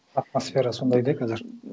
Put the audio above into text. атмосфера сондай да қазір